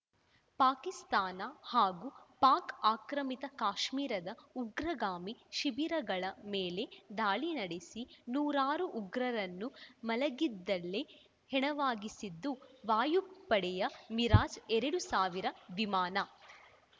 ಪಾಕಿಸ್ತಾನ ಹಾಗೂ ಪಾಕ್‌ ಆಕ್ರಮಿತ ಕಾಶ್ಮಿರದ ಉಗ್ರಗಾಮಿ ಶಿಬಿರಗಳ ಮೇಲೆ ದಾಳಿ ನಡೆಸಿ ನೂರಾರು ಉಗ್ರರನ್ನು ಮಲಗಿದ್ದಲ್ಲೇ ಹೆಣವಾಗಿಸಿದ್ದು ವಾಯುಪಡೆಯ ಮಿರಾಜ್‌ ಎರಡ್ ಸಾವಿರ ವಿಮಾನ